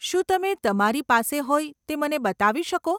શું તમે તમારી પાસે હોય તે મને બતાવી શકો?